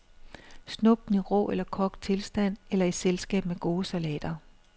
Snup dem i rå eller kogt tilstand eller i selskab med gode salater.